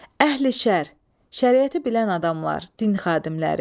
Əhli-şər, şəriəti bilən adamlar, din xadimləri.